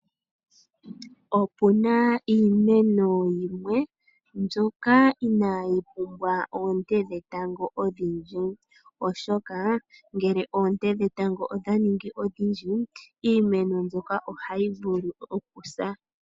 Opu na iimeno yimwe mbyoka inayi pumbwa oonte dhetango odhindji, oshoka oonte dhetango ngele odha ningi ondhindji iimeno mbyoka ohayi vulu okusa.